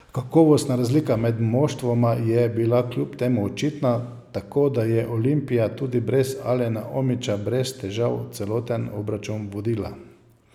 Kakovostna razlika med moštvoma je bila kljub temu očitna, tako da je Olimpija tudi brez Alena Omića brez težav celoten obračun vodila.